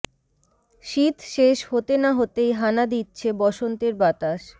শীত শেষ হতে না হতেই হানা দিচ্ছে বসন্তের বাতাস